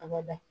A bada